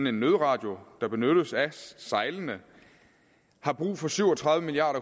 en nødradio der benyttes af sejlende har brug for syv og tredive milliard